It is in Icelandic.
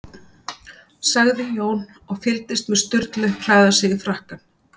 sagði Jón, og fylgdist með Sturlu klæða sig í frakkann.